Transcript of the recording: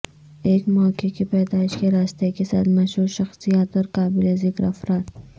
ایک مواقع کی پیدائش کے راستے کے ساتھ مشہور شخصیات اور قابل ذکر افراد